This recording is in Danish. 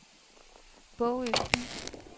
Bogø By